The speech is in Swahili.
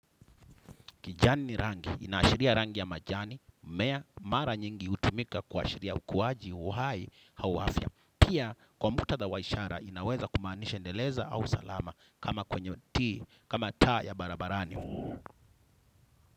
Kijani ni rangi, inaashiria rangi ya majani, mimea mara nyingi hutumika kuashiria ukuwaji uhai au afya. Pia kwa muktadha wa ishara inaweza kumaanisha endeleza au salama kama kwenye ti, kama taa ya barabarani.